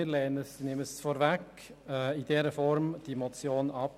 Wir lehnen diese Motion in der vorliegenden Form ab.